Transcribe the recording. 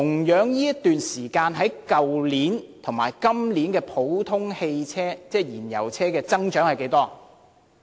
跟去年這段時間比較，今年普通汽車的銷量增長是多少？